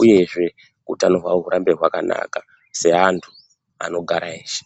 uyezve utano hwavo hurambe hwakanaka seantu anogara eshe.